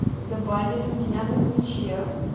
забанили меня на твиче